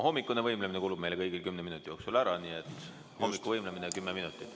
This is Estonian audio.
Hommikune võimlemine kulub meile kõigile kümne minuti jooksul ära, nii et hommikuvõimlemine kümme minutit.